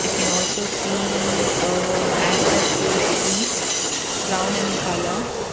i can also see uh asbestos sheet brown in colour.